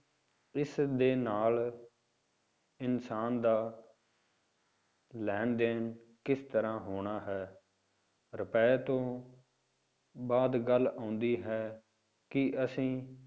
ਇਸਦੇ ਨਾਲ ਇਨਸਾਨ ਦਾ ਲੈਣ ਦੇਣ ਕਿਸ ਤਰ੍ਹਾਂ ਹੋਣਾ ਹੈ, ਰੁਪਏ ਤੋਂ ਬਾਅਦ ਗੱਲ ਆਉਂਦੀ ਹੈ ਕਿ ਅਸੀਂ